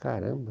Caramba.